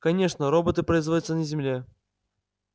конечно роботы производятся на земле